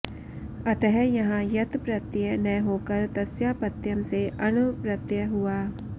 अतः यहाँ यत् प्रत्यय न होकर तस्यापत्यम् से अण् प्रत्यय हुआ